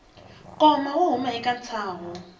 koma swo huma eka ntsaho